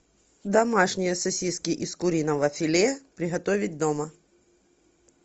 домашние сосиски из куриного филе приготовить дома